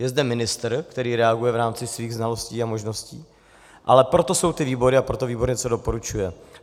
Je zde ministr, který reaguje v rámci svých znalostí a možností, ale proto jsou ty výbory a proto výbor něco doporučuje.